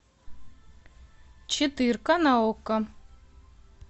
четырка на окко